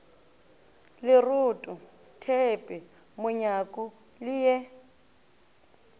leroto theepe monyaku le ye